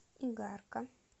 игарка